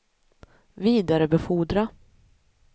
vidarebefordra